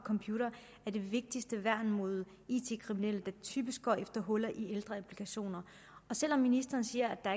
computere er det vigtigste værn mod it kriminelle der typisk går efter huller i ældre applikationer selv om ministeren siger at der